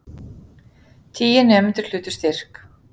Tíu nemendur hlutu styrk